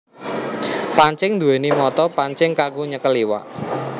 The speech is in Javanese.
Pancing nduwèni mata pancing kanggo nyekel iwak